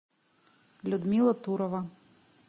людмила турова